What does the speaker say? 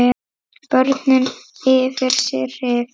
Börnin yfir sig hrifin.